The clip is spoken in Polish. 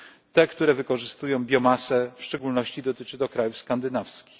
te, które wykorzystują biomasę w szczególności dotyczy to krajów skandynawskich.